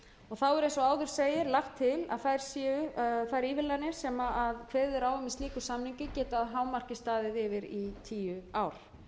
er eins og áður segir að þær ívilnanir sem kveðið er á um í slíkum samningi geti að hámarki staðið yfir í tíu ár